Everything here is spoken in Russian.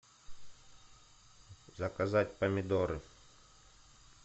заказать помидоры